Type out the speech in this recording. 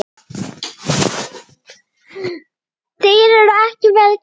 Þeir eru ekki vel gerðir.